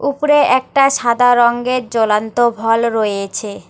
ওপরে একটা সাদা রঙ্গের জ্বলান্ত ভল রয়েছে।